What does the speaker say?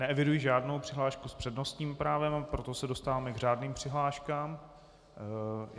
Neeviduji žádnou přihlášku s přednostním právem, a proto se dostáváme k řádným přihláškám.